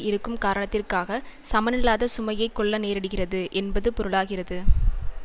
இருக்கும் காரணத்திற்காக சமனில்லாத சுமையை கொள்ள நேரிடுகிறது என்பது பொருளாகிறது